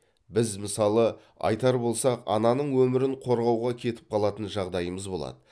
біз мысалы айтар болсақ ананың өмірін қорғауға кетіп қалатын жағдайымыз болады